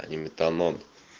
а не метанон